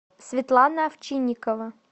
светлана овчинникова